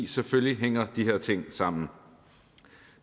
selvfølgelig hænger de her ting sammen